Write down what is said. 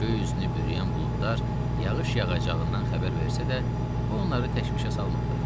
Göy üzünü bürüyən buludlar yağış yağacağından xəbər versə də, bu onları təşvişə salmırdı.